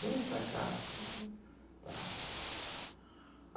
Venha para cá, tá?